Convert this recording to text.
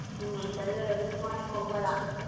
ಹ್ಮ್ ಸರಿ miss ಮಾಡೋಕ್ಕೆ ಹೋಗ್ಬೇಡ.